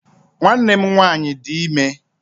Nwanne m nwaanyị dị ime